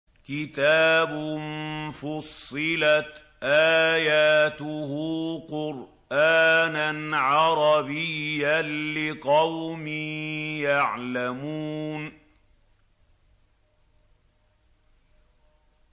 كِتَابٌ فُصِّلَتْ آيَاتُهُ قُرْآنًا عَرَبِيًّا لِّقَوْمٍ يَعْلَمُونَ